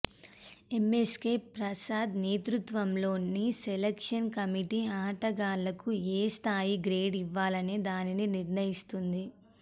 MSK Prasad నేతృత్వంలోని selection committee ఆటగాళ్లకు ఏ స్థాయి గ్రేడ్ ఇవ్వాలనే దానిని నిర్ణయిస్తుంది